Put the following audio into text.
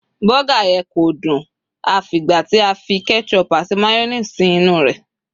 burger yen ko dun a f'igba ti a fi ketchup ati mayonnaise sí inú rẹ